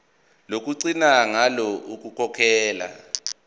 lokugcina ngalo ukukhokhela